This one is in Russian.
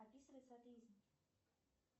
описывается атеизм